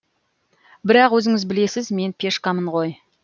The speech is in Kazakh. бірақ өзіңіз білесіз мен пешкамын ғой